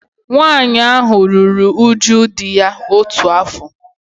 Nwaanyị ahụ ruru uju di ya otu afọ